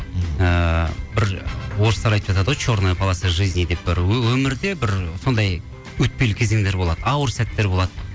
ыыы бір орыстар айтып жатады ғой черная полоса жизни деп бір өмірде бір сондай өтпелі кезеңдер болады ауыр сәттер болады